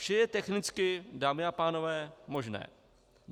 Vše je technicky, dámy a pánové, možné.